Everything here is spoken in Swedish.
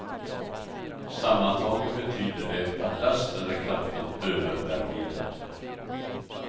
Sammantaget betyder det att lasten är kraftigt övervärderad.